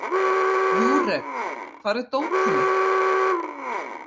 Júrek, hvar er dótið mitt?